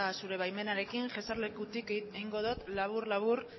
zure baimenarekin eserlekutik egingo dut labur labur